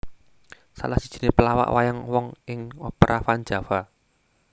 Salah sijiné pelawak wayang wong ing Opera Van Java